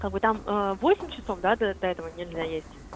а вы там восемь часов да до до этого нельзя есть